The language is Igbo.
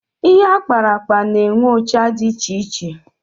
Ihe akparakpa na-enwe ụcha dị iche iche